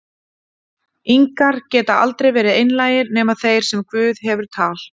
ingar geta aldrei verið einlægir, nema þeir sem guð hefur tal